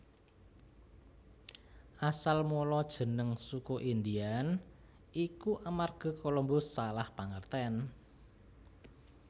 Asal mula jeneng Suku Indian iku amarga Colombus salah pangertèn